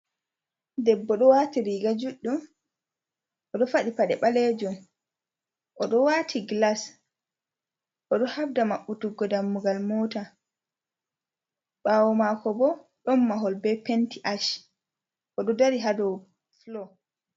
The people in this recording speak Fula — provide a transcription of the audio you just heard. Debbo ɗo waati riiga juɗɗum. Oɗo faɗɗi paɗe ɓalejum. Oɗo waati gilas. Oɗo habda maɓɓutuggo dammugal mota. Ɓawo maako bo, ɗon mahol be penti ash. Oɗo dari haa dow fulow.